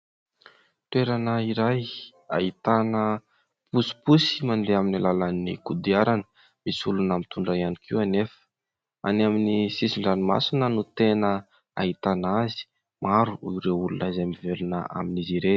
Toerana iray ahitana posiposy mandeha amin'ny alalan'ny kodiarana, misy olona mitondra ihany koa anefa. Any amin'ny sisin-dranomasina no tena ahitana azy, maro ireo olona izay mivelona amin'izy ireny.